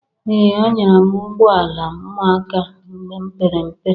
Ee! Anyara m ụgbụọla ụmụaka mgbe m pere mpe.